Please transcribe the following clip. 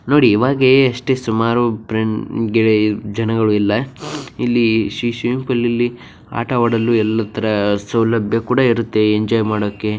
ನೋಡಿ ಈವಾಗ ಅಷ್ಟು ಸುಮಾರು ಫ್ರೆಂಡ್ ಗೆ ಜನ ಇಲ್ಲ ಇಲ್ಲಿ ಸ್ವಿಮ್ಮಿಂಗ್ ಫೂಲ್ ಇಲ್ಲಿ ಆಟ ಆಡೋಕೆ ಎಲ್ಲ ಸೌಲಭ್ಯ ಕೂಡ ಇರುತ್ತೆ. ಎಂಜಾಯ್ ಮಾಡೋಕೆ--